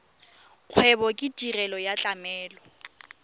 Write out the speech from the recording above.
kgwebo ke tirelo ya tlamelo